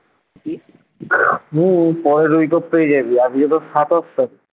কি হম পরের week off পেয়ে যাবি আজকে তো সাতাশ তারিখ